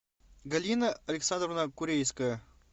галина александровна курейская